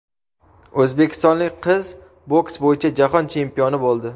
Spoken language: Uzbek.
O‘zbekistonlik qiz boks bo‘yicha jahon chempioni bo‘ldi.